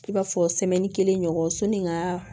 I b'a fɔ kelen ɲɔgɔn sɔnni n ga